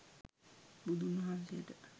බුදුන් වහන්සේට